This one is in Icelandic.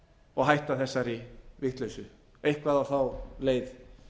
og hætta þessari vitleysu eitthvað á þá leið